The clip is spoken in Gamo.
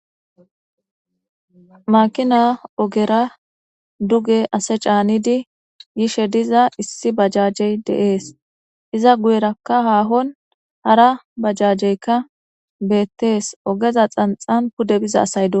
Makina ogera duge ase caanidi yishe diza issi bajajey deees iza guyerakka haahon hara bajajeykka beettees ogeza xanxan pude biza asayd.